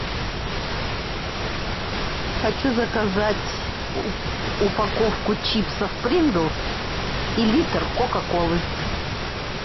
хочу заказать упаковку чипсов принглс и литр кока колы